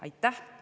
Aitäh!